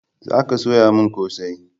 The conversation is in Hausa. Za ka soya min kosai!